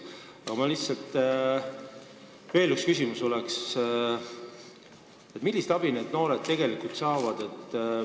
Aga mul on veel üks küsimus: millist abi need noored tegelikult saavad?